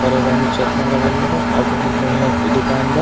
और एगो आदमी चश्मा लगइले बा और बहुत बढ़िया दुकान बा।